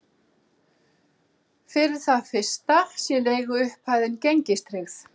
Fyrir það fyrsta sé leiguupphæðin gengistryggð